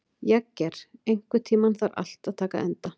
Jagger, einhvern tímann þarf allt að taka enda.